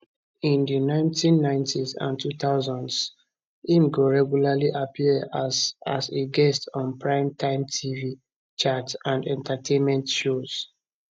in di 1990s and 2000s im go regularly appear as as a guest on primetime tv chat and entertainment shows